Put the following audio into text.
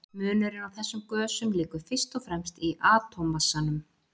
Munurinn á þessum gösum liggur fyrst og fremst í atómmassanum.